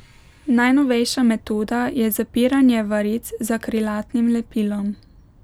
Najnovejša metoda je zapiranje varic z akrilatnim lepilom.